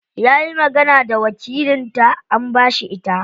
Yayi magana da wakilin ta an bashi ita.